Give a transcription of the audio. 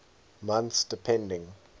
months depending